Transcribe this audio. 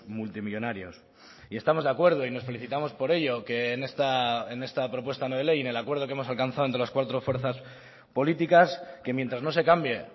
multimillónarios y estamos de acuerdo y nos felicitamos por ello que en esta propuesta no de ley en el acuerdo que hemos alcanzado entre las cuatro fuerzas políticas que mientras no se cambie